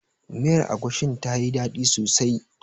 Miyar agushin tayi daɗi sosai.